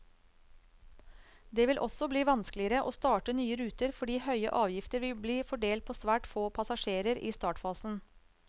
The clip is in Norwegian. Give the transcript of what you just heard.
Det vil også bli vanskeligere å starte nye ruter, fordi høye avgifter vil bli fordelt på svært få passasjerer i startfasen.